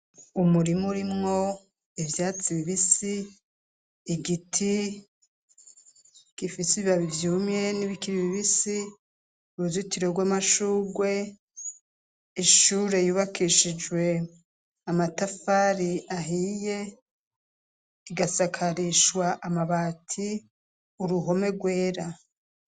Umurimu urimwo ivyatsi bibisi igiti gifise ibibabivyumye n'ibikiri bibisi uruzitiro rw'amashugwe ishure yubakishijwe amatafari ahiye igasakarishwa amabaja ati uruhome rwera.